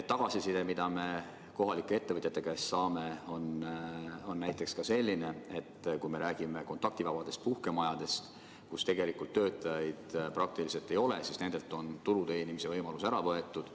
Tagasiside, mida me kohalike ettevõtjate käest saame, on näiteks selline, et me räägime ka kontaktivabadest puhkemajadest, kus tegelikult töötajaid praktiliselt ei ole, aga nendelt on ka tulu teenimise võimalus ära võetud.